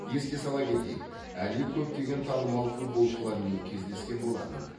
еске сала кетейік әли көптеген танымал футболшылармен кездескен болатын